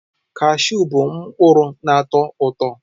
Cashews bụ mkpụrụ na-atọ ụtọ.